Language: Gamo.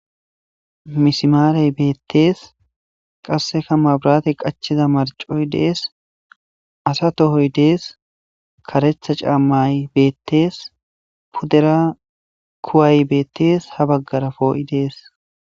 Misimarey beettees qasseka mabrate qachiza marcoy dees asa tohoy dees karetha caammay beettees puddera kuwaay beettees ha baggara poo7i dees.